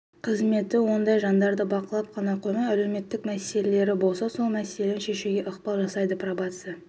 қызметі ондай жандарды бақылап қана қоймай әлеуметтік мәселелері болса сол мәселерін шешуге ықпал жасайды пробация